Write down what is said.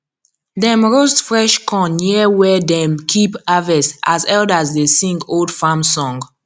dem roast fresh corn near where dem keep harvest as elders dey sing old farm song